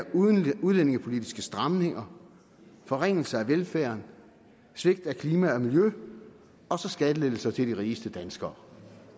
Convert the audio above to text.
udlændingepolitiske stramninger forringelse af velfærden svigt af klima og miljø og så skattelettelser til de rigeste danskere